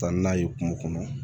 Taa n'a ye kungo kɔnɔ